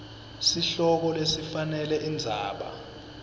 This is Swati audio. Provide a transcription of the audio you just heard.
sihloko lesifanele indzaba